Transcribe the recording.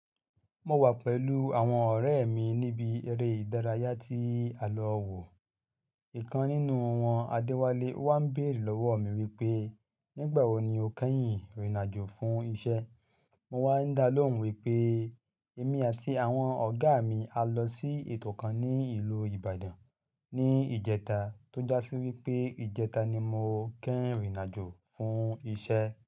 Mo wà pẹ̀lú àwọn ọ̀rẹ́ mi níbi eré ìdárayá ti àlọ́ wò. Ìkan nínú wọn Adewale o wá ń bèerè lọ́wọ́ mi wípé, "Nígbà wo ni o kẹ́yìn rìnàjò fún iṣẹ́?" Mo wá ń dá lóhùn wípé, "Èmi àti àwọn ọ̀gá mi a lọ sí ètò kan ní ìlú Ìbàdàn ní ìjẹta." Tó já sí wípé ìjẹta ni mo kẹ́rìn rìnàjò fún iṣẹ́.